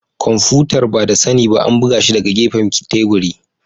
Kwamfutar, ba da sani ba an buga shi daga gefen teburin.